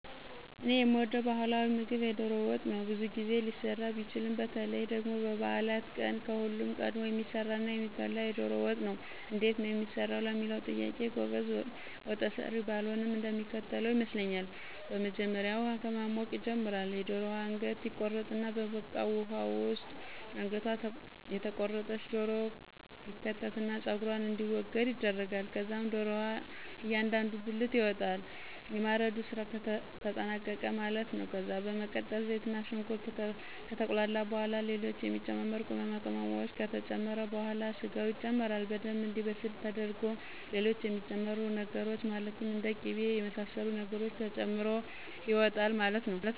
እኔ የምወደው ባህላዊ ምግብ የዶሮ ወጥ ነው። ብዙ ጊዜ ሊሰራ ቢችልም በተለይ ደግሞ በበዓላት ቀን ከሁሉም ቀድሞ የሚሰራና የሚበላው የዶሮ ወጥ ነው። እንዴት ነው የሚሰራው ለሚለው ጥያቄ ጎበዝ ወጠሰሪ ባልሆንም እንደሚከተለው ይመስለኛል። በመጀመሪያ ውሃ ከማሞቅ ይጀመራል፤ የደሮዋ አንገት ይቆረጣል፤ በበቃው ውሃ ውስጥ አንገቷ የተቆረጠች ዶሮ ይከተትና ፀጉሯ እንዲወገድ ይደረጋል። ከዛም ዶሮዋ እያንዳንዱ ብልት ይወጣል። የማረዱ ስራ ተጠናቀቀ ማለት ነው። ከዛ በመቀጠል ዘይትና ሽንኩርት ከተቁላላ በኋላ ና ሌሎች የሚጨመሩ ቅመማቅመም ከተጨመረ በኋላ ስጋው ይጨመራል። በደምብ እንዲበስል ተደርጎ ሌሎች የሚጨመሩ ነገሮች ማለትም እንደ ቂበ የመሰሉ ነገሮች ተጨምሮ ይወጣል ማለት ነው።